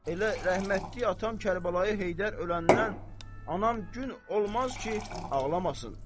Elə rəhmətlik atam Kərbəlayı Heydər öləndən anam gün olmaz ki, ağlamasın.